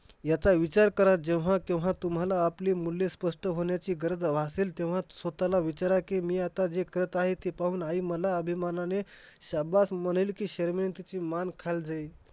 ह्याचा विचार करा जेव्हा-तेव्हा तुम्हाला आपले मूल्ये स्पष्ट होण्याची गरज भासेल. तेव्हाच स्वतःला विचारा की, मी आता जे करत आहे ते पाहून आई मला अभिमानाने शाब्बास म्हणेल की शरमेने तिची मान खाली जाईल?